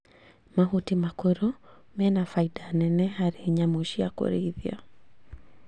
Mahuti makũrũ mena baida nene harĩ nyamũ cia kũrĩithia